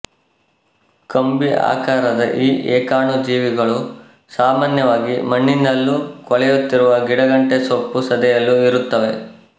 ಕಂಬಿ ಆಕಾರದ ಈ ಏಕಾಣುಜೀವಿಗಳು ಸಾಮಾನ್ಯವಾಗಿ ಮಣ್ಣಿನಲ್ಲೂ ಕೊಳೆಯುತ್ತಿರುವ ಗಿಡಗಂಟೆ ಸೊಪ್ಪು ಸದೆಯಲ್ಲೂ ಇರುತ್ತವೆ